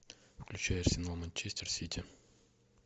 включай арсенал манчестер сити